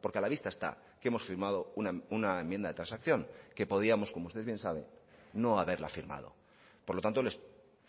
porque a la vista está que hemos firmado una enmienda de transacción que podíamos como usted bien sabe no haberla firmado por lo tanto les